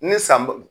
Ni san bu